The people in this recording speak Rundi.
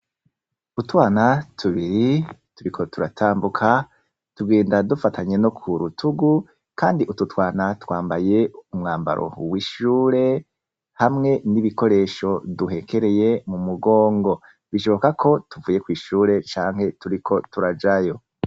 Utwana tubiri turiko turatambuka, tugenda dufatanye no kurutugu kandi utwo twana twambaye umwambaro w'ishure, hamwe n'ibikoresho duhekereye m'umugongo, bishoboka ko tuvuye kw'ishure canke turiko turajayo.